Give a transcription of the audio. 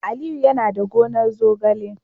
Aliyu yana da gonar zogale